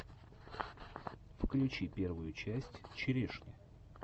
включи первую часть черешни